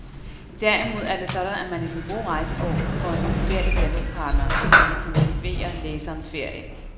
Derimod er det sådan, at man i den gode rejsebog får en uvurderlig dialogpartner, som intensiverer læserens ferie.